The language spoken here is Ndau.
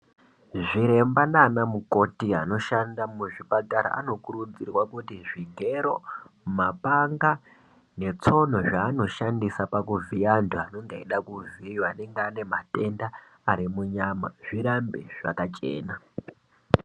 Zviremba nana mukoti anoshanda muzvipatara anokurudzirwa kuti zvigero, mapanga netsono zvaanoshandisa pakuvhiya antu anenge eida kuvhiiva anenge ane matenda ari munyama, zvirambe zvakachena.